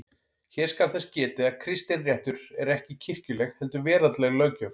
Hér skal þess getið að kristinréttur er ekki kirkjuleg heldur veraldleg löggjöf.